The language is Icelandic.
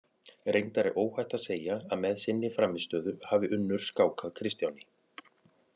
Reyndar er óhætt að segja að með sinni frammistöðu hafi Unnur skákað Kristjáni.